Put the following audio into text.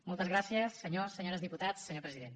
moltes gràcies senyors diputats senyores diputades senyor president